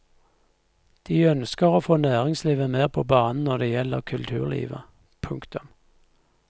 De ønsker å få næringslivet mer på banen når det gjelder kulturlivet. punktum